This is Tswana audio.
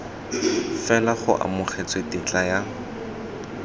fela go amogetswe tetla ya